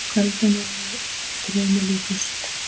Kvöldin voru svo draumi líkust.